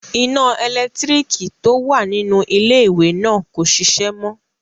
Iná ẹlẹ́lẹ̀tíríkì tó wà nínú iléwẹ̀ náà kò ṣiṣẹ́ mọ.